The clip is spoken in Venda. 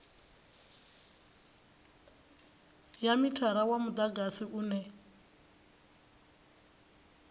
ya mithara wa mudagasi une